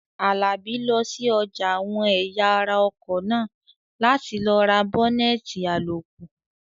Àlàbí lọ sí ọjà àwọn ẹ̀yà ara ọkọ̀ náà láti lọ ra bọ́nẹ̀tì àlòkù